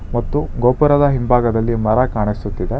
ಮತ್ತು ಗೋಪುರದ ಹಿಂಭಾಗದಲ್ಲಿ ಮರ ಕಾಣಿಸುತ್ತಿದೆ.